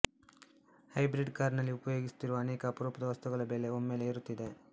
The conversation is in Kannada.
ಹೈಬ್ರಿಡ್ ಕಾರ್ ನಲ್ಲಿ ಉಪಯೋಗಿಸುತ್ತಿರುವ ಅನೇಕ ಅಪರೂಪದ ವಸ್ತುಗಳ ಬೆಲೆ ಒಮ್ಮೆಲೇ ಏರುತ್ತಿದೆ